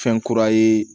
Fɛn kura ye